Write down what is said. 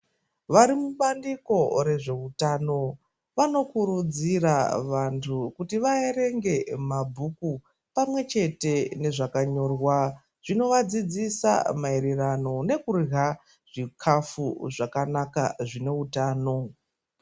Varimubandiko rezveutano vanokurudzira vantu kuti vaerenge mabhuku pamwechete nezvakanyorwa zvinovadzidzisa maererano nekurya zvikafu zvakanaka zvine utano.